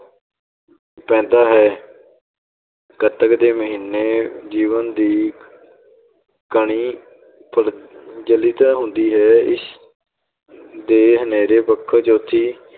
ਪੈਂਦਾ ਹੈ ਕੱਤਕ ਦੇ ਮਹੀਨੇ ਜੀਵਨ ਦੀ ਕਣੀ ਹੁੰਦੀ ਹੈ ਇਸ ਦੇ ਹਨੇਰੇ ਪੱਖੋਂ ਜੋਤੀ